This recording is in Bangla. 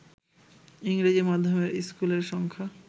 ইংরেজি মাধ্যমের স্কুলের সংখ্যা